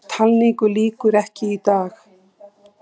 Talningu lýkur ekki í dag